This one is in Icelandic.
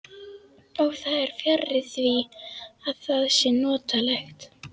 Og það er fjarri því að það sé notalegt.